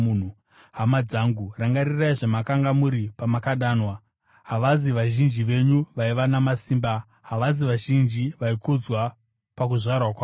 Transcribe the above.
Hama dzangu, rangarirai zvamakanga muri pamakadanwa. Havazi vazhinji venyu vaiva namasimba; havasi vazhinji vaikudzwa pakuzvarwa kwavo.